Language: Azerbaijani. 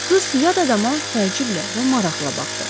Qız yad adama təəccüblə və maraqla baxdı.